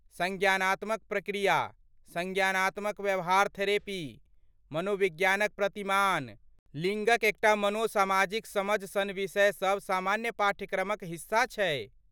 संज्ञानात्मक प्रक्रिया, संज्ञानात्मक व्यवहार थेरेपी, मनोविज्ञानक प्रतिमान, लिङ्गक एकटा मनो सामाजिक समझ सन विषय सब सामान्य पाठ्यक्रमक हिस्सा छै।